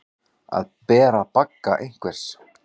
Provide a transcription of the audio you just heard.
Að bera bagga einhvers